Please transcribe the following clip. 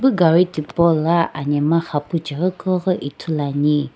epu gari tipaula anhemgha xapucheghi keughi ithuluani.